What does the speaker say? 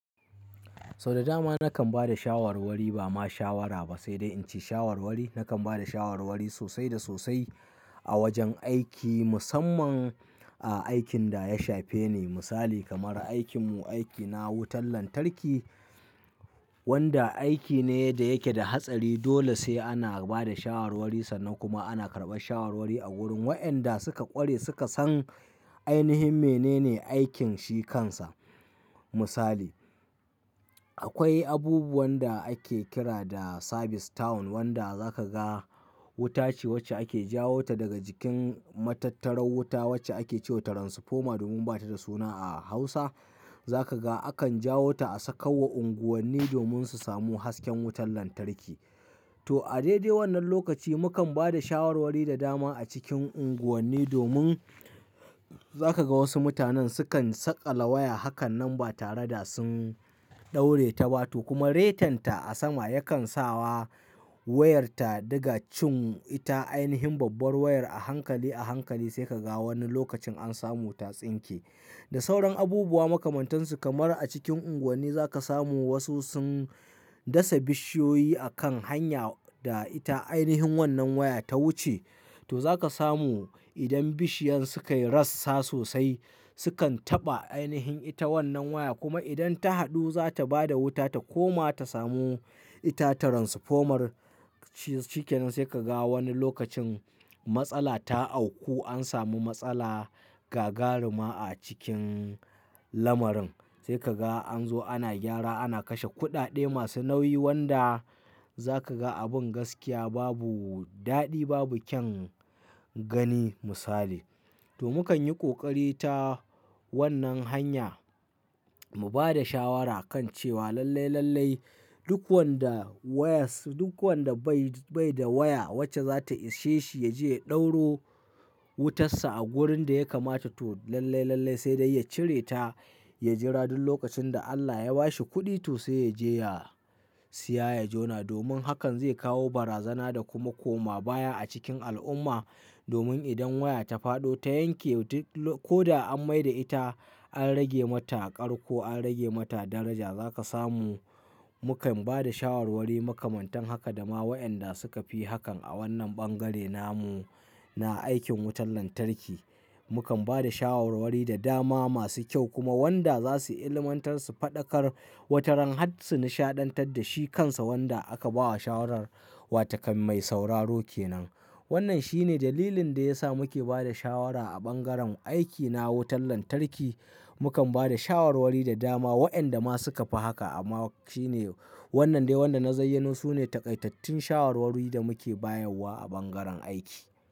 Sau da dama nakan ba da shawarwari ba ma shawara ba, sai dai in ce shawarwari. Nakan ba da shawarwari sosai da sosai a wajen aiki, musamman a aikin da ya shafe ni. Misali kamar aikin mu, aikina wutar lantarki wanda aiki ne da yake da hatsari. Dole sai ana ba da shawarwari sannan kuma ana karɓar shawarwari a wurin. Wa'yanda suka ƙware suka san ainihin menene aikin shi kansa. Misali, akwai abubuwan da ake kira da service town wanda za ka ga wuta ce wacce ake jawo ta daga jikin matattarar wuta wacce ake ce wa transformer domin ba ta da suna a Hausa. Za ka ga akan jawo ta a sakawa unguwanni domin su samu hasken wutar lantarki. To a daidai wannan lokaci mukan ba da shawarwari da dama a cikin unguwanni domin za ka ga wasu mutanen sukan saƙala waya hakan nan ba tare da sun ɗauraye ta ba. To kuma retan ta a sama yakan sa wa wayar ta diga cin ita. Ainihin babbar wayar a hankali a hankali sai ka ga wani lokacin an samu ta tsinke. Da sauran abubuwa makamantansu kamar a cikin unguwanni za ka samu wasu sun dasa bishiyoyi a kan hanya da ita ainihin wannan waya ta wuce. To za ka samu idan bishiyan sukayi rassa sosai sukan taɓa ainihin ita wannan waya kuma idan ta haɗu za ta ba da wuta ta koma ta samu ita gidan wuta Shi kenan sai ka ga wani lokacin matsala ta auku an samu matsala, gagaruma a cikin lamarin. Sai ka ga an zo ana gyara, ana kashe kuɗaɗe masu nauyi wanda za ka ga abin gaskiya babu daɗi, babu kyan gani misali. To mukan yi ƙoƙari ta wannan hanya mu ba da shawara kan cewa lallai, lallai duk wanda waya, duk wanda bai, bai da waya wacce za ta ishe shi ya je ya ɗauro wutansa a wurin da ya kamata. To lallai, lallai sai dai ya cire ta, ya jira duk lokacin da Allah ya ba shi kuɗi to sai ya je ya siya, ya jona domin hakan zai kawo barazana da kuma koma baya a cikin al'umma. Domin idan waya ta faɗo, ta yanke ko da an mai da ita, an rage mata ƙar ko an rage mata daraja za ka samu. Mukan ba da shawarwari makamantan haka da ma wa'yanda suka fi hakan a wannan bangare namu na aikin wutar lantarki. Mukan ba da shawarwari da dama masu kyau kuma wanda za su ilmantar su faɗakar wataran har su nishaɗantar da shi kansa wanda aka ba wa shawarar wa takan mai sauraro kenan. Wannan shine dalilin da ya sa muke ba da shawara a bangaren aikina wutar lantarki. Mukan ba da shawarwari da dama wa'yanda ma suka fi haka amma shine wannan dai wanda na zayyano su ne takaitattun shawarwari da muke bayarwa a bangaren aiki.